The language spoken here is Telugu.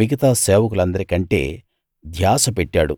మిగతా సేవకులందరికంటే ధ్యాస పెట్టాడు